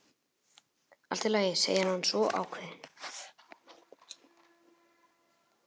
Allt í lagi, segir hann svo ákveðinn.